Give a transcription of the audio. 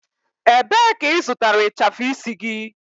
Ebee ka ị zụtara ịchafụ isi gị?